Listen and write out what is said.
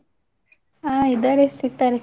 ಹ ಇದಾರೆ ಸಿಗ್ತಾರೆ.